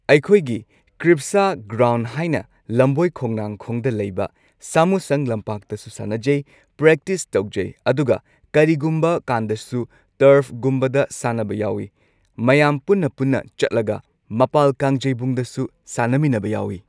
ꯑꯩꯈꯣꯏꯒꯤ ꯀ꯭ꯔꯤꯞꯁꯥ ꯒ꯭ꯔꯥꯎꯟ ꯍꯥꯏꯅ ꯂꯝꯕꯣꯏꯈꯣꯡꯅꯥꯡꯈꯣꯡꯗ ꯂꯩꯕ ꯁꯥꯃꯨꯁꯪ ꯂꯝꯄꯥꯛꯇꯁꯨ ꯁꯥꯟꯅꯖꯩ ꯄ꯭ꯔꯦꯛꯇꯤꯁ ꯇꯧꯖꯩ ꯑꯗꯨꯒ ꯀꯔꯤꯒꯨꯝꯕꯀꯥꯟꯗꯁꯨ ꯇꯔꯐꯒꯨꯝꯕꯗ ꯁꯥꯟꯅꯕ ꯌꯥꯎꯏ꯫ ꯃꯌꯥꯝ ꯄꯨꯟꯅ ꯄꯨꯟꯅ ꯆꯠꯂꯒ ꯃꯄꯥꯜ ꯀꯥꯡꯖꯩꯕꯨꯡꯗꯁꯨ ꯁꯥꯟꯅꯃꯤꯟꯅꯕ ꯌꯥꯎꯏ꯫